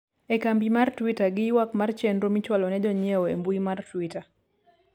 e kambi mar twita gi ywak mar chenro michwalo ne jonyiewo e mbui mar twita